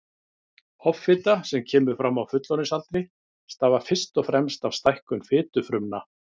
Offita sem kemur fram á fullorðinsaldri stafar fyrst og fremst af stækkun fitufrumna.